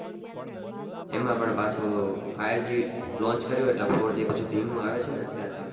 એમાં પણ પાછું five g launch કર્યો એટલે four g પછી ધીમું આવે છે ને અત્યારે